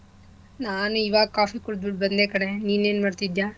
ನಾನ್ ಈವಾಗ coffee ಕುಡ್ದುಬಿಟ್ಟು ಬಂದೆ ಕಣೆ ನೀನೇನ್ ಮಾಡ್ತಿದ್ಯ?